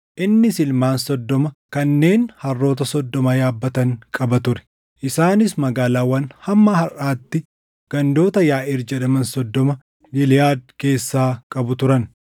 innis ilmaan soddoma kanneen harroota soddoma yaabbatan qaba ture. Isaanis magaalaawwan hamma harʼaatti gandoota Yaaʼiir jedhaman soddoma Giliʼaad keessaa qabu turan.